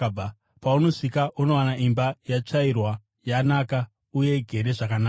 Paunosvika, unowana imba yakatsvairwa, yanaka uye igere zvakanaka.